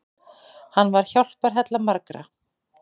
Hann var hjálparhella margra.